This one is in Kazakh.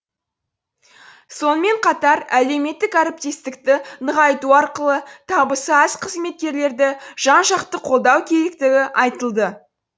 сонымен қатар әлеуметтік әріптестікті нығайту арқылы табысы аз қызметкерлерді жан жақты қолдау керектігі айтылды